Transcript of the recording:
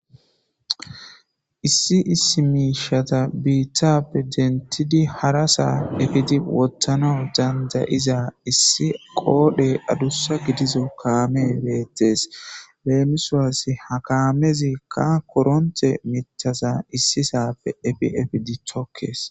issi issi miishata biitthappe dentidi hara saa efiti wottana dandayiza issi qoodhe adussa gidizo kaame beettes leenusulass ha kaamezikka koronte mithasa issi saafe efiefidi thokkes